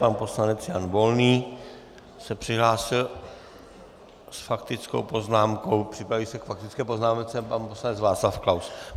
Pan poslanec Jan Volný se přihlásil s faktickou poznámkou, připraví se k faktické poznámce pan poslanec Václav Klasu.